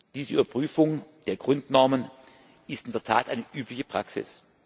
Diese Überprüfung der Grundnormen ist in der Tat eine übliche Praxis.